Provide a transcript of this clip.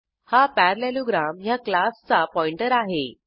हा पॅरालेलोग्राम ह्या क्लासचा पॉइंटर आहे